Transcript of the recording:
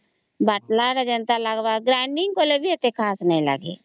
ବାଟଲ ତା ଯେନ୍ତା ଲାଗିବ grinding କଲେ ବି ସେତେ ଖାସ ନାଇଁ ଲାଗିବା